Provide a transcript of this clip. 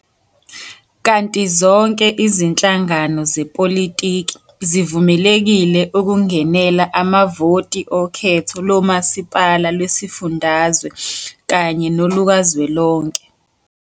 Kanti zonke izinhlangano zepolitiki zivumelekile ukungenela amavoti okhetho lomasipala lwezifundazwe kanye nolukazwelonke.